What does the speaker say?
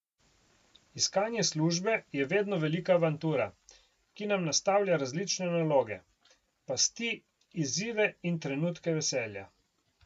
Iskanje službe je vedno velika avantura, ki nam nastavlja različne naloge, pasti, izzive in trenutke veselja.